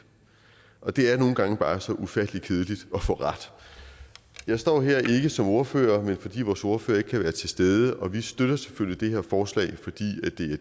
og det er nogle gange bare så ufattelig kedeligt at få ret jeg står her ikke som ordfører men fordi vores ordfører ikke kan være til stede og vi støtter selvfølgelig det her forslag fordi